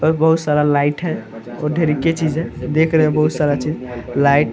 और बहुत सारा लाइट है और ढेर री के चीज़ है देख रहे है बहुत सारा चीज़ लाइट --